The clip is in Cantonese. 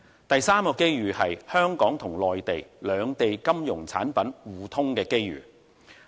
第三個機遇，就是香港與內地金融產品互通的機遇。